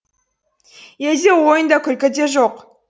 ойын да күлкі де жоқ